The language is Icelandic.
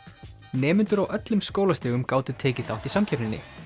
nemendur á öllum skólastigum gátu tekið þátt í samkeppninni